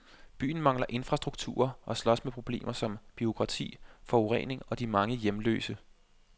Byen mangler infrastrukturer og slås med problemer som bureaukrati, forurening og de mange hjemløse.